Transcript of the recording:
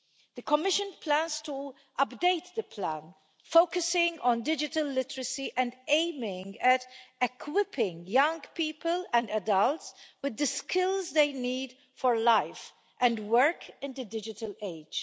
The Commission plans to update the plan, focusing on digital literacy and aiming at equipping young people and adults with the skills they need for life and work in the digital age.